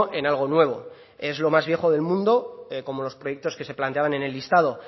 en algo nuevo es lo más viejo del mundo como los proyectos que se planteaban en el listado